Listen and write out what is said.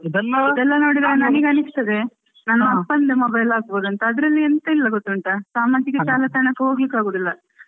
ಇದನೆಲ್ಲ ನೋಡಿ ನನಗೆ ಅನಿಸ್ತದೆ ನನ್ನ ಅಪ್ಪನ mobile ಅಲ್ಲಿ ಆಗಬಹುದಾ ಅಂತ ಅದ್ರಲ್ಲಿ ಎಂತ ಇಲ್ಲ ಗೊತ್ತುಂಟಾ? ಸಾಮಾಜಿಕ ಜಾಲತಾಣಕ್ಕೆ ಹೋಗ್ಲಿಕ್ಕೆ ಆಗೋದಿಲ್ಲ,